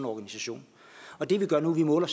organisation og det vi gør nu er